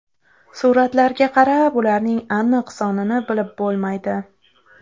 Suratlarga qarab, ularning aniq sonini bilib bo‘lmaydi.